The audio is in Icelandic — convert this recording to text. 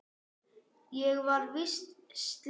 Ég var víst slys.